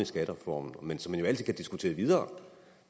skattereformen men som man jo altid kan diskutere videre om